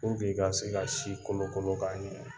Dɔw bɛyi ka sin ka si kolokolo k'a ɲɛ.